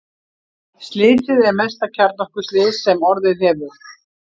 Slysið er mesta kjarnorkuslys sem orðið hefur.